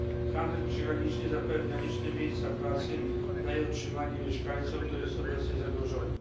Handel przygraniczny zapewnia liczne miejsca pracy, daje utrzymanie mieszkańcom to jest obecnie zagrożone.